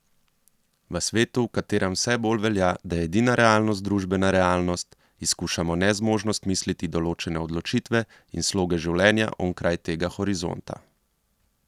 V svetu, v katerem vse bolj velja, da je edina realnost družbena realnost, izkušamo nezmožnost misliti določene odločitve in sloge življenja onkraj tega horizonta.